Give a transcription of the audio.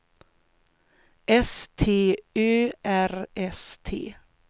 S T Ö R S T